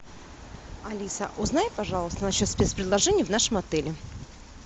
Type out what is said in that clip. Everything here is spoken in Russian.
алиса узнай пожалуйста насчет спец предложений в нашем отеле